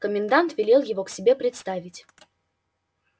комендант велел его к себе представить